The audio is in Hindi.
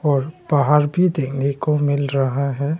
और पहाड़ भी देखने को मिल रहा है।